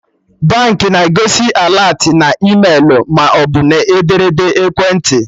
Baankị na-egosi alertị na e-mailu maọbụ n'ederede ekwentị